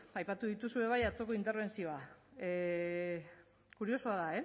aipatu duzu ere bai atzoko interbentzioa kuriosoa da